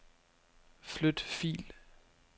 Flyt fil.